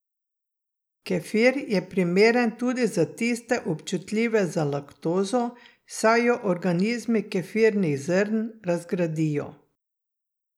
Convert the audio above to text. Kefir je primeren tudi za tiste občutljive za laktozo, saj jo organizmi kefirnih zrn razgradijo.